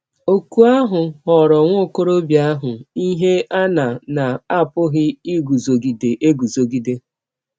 Ọ̀kụ ahụ ghọọrọ nwa ọkọrọbịa ahụ ihe a na na - apụghị iguzogide eguzogide.